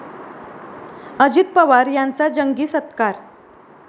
अजित पवार यांचा जंगी सत्कार